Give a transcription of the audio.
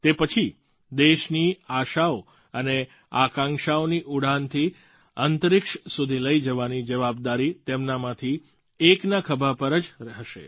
તે પછી દેશની આશાઓ અને આકાંક્ષાઓની ઉડાનથી અંતરિક્ષ સુધી લઈ જવાની જવાબદારી તેમનામાંથી એકના ખભા પર જ હશે